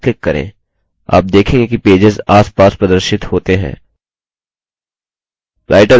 आप देखेंगे कि पेजेस आसपास प्रदर्शित होते हैं